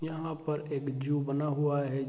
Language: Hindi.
यहां पर एक जू बना हुआ है।